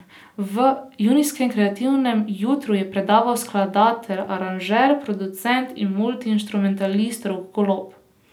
V junijskem kreativnem jutru je predaval skladatelj, aranžer, producent in multiinštrumentalist Rok Golob.